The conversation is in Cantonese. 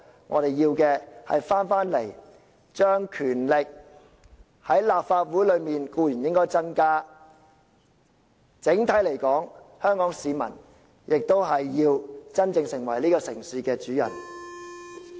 我們在立法會內的權力固然應該增加，但整體而言，香港市民亦要真正成為這個城市的主人。